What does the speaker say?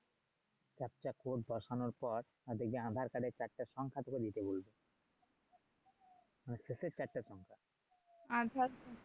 একটা কোড বসানোর পর দেখবি আর ধর কার্ডের চারটা সংখ্যা দিতে বলবে শেষের চারটা সংখ্যা আর ধর